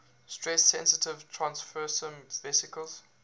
stress sensitive transfersome vesicles